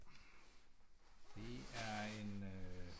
Det er en øh